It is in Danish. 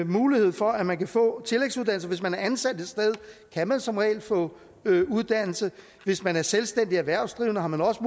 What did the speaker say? mulighed for at man kan få en tillægsuddannelse hvis man er ansat et sted kan man som regel få uddannelse og hvis man er selvstændig erhvervsdrivende har man også